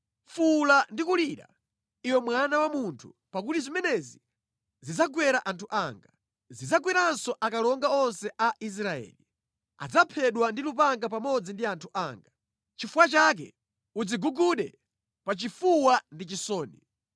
Fuwula ndi kulira, iwe mwana wa munthu, pakuti zimenezi zidzagwera anthu anga; zidzagweranso akalonga onse a Israeli. Adzaphedwa ndi lupanga pamodzi ndi anthu anga. Chifukwa chake udzigugude pa chifuwa ndi chisoni.